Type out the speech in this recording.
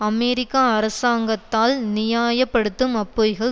அமெரிக்க அரசாங்கத்தால் நியாய படுத்தும் அப்பொய்கள்